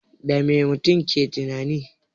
Dame mutum yake tunani?